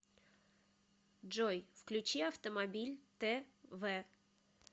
джой включи автомобиль тэ вэ